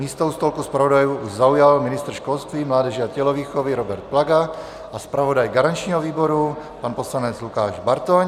Místo u stolku zpravodajů zaujal ministr školství, mládeže a tělovýchovy Robert Plaga a zpravodaj garančního výboru pan poslanec Lukáš Bartoň.